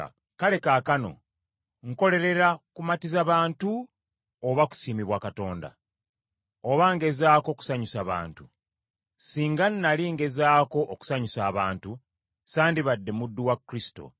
Kale kaakano nkolerera kumatiza bantu oba kusiimibwa Katonda? Oba ngezaako kusanyusa bantu? Singa nnali nkyagezaako okusanyusa abantu, sandibadde muddu wa Kristo.